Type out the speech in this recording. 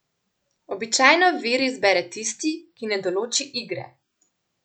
Običajno vir izbere tisti, ki ne določi igre.